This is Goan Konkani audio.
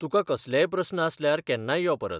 तुका कसलेय प्रस्न आसल्यार केन्नाय यो परत.